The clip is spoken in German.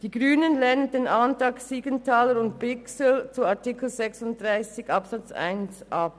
Die Grünen lehnen den Antrag Siegenthaler/Bichsel zu Artikel 36 Absatz 1 ab.